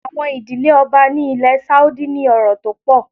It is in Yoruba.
Àwọn ìdílé Ọba ni ilé Sáúdí ní ọrọ̀ tó pọ̀.